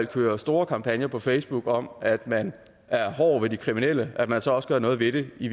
kører store kampagner på facebook om at man er hård ved de kriminelle at man så også gør noget ved det i